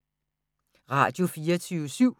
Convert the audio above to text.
Radio24syv